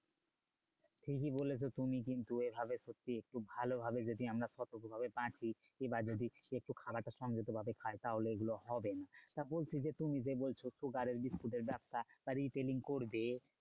ঠিকই বলেছো তুমি কিন্তু এভাবে সত্যি একটু ভালোভাবে যদি আমরা সতর্ক ভাবে বাঁচি বা যদি একটু খাবারটা সংযত ভাবে খাই তাহলে এইগুলো হবে না। তা বলছি যে তুমি যে বলছো sugar এর বিস্কুটের ব্যাবসা বা training করবে